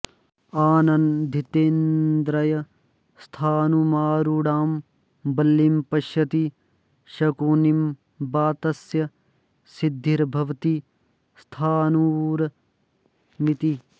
आनन्दितेन्द्रियः स्थाणुमारूढां वल्लिं पश्यति शकुनिं वा तस्य सिद्धिर्भवति स्थाणुरयमिति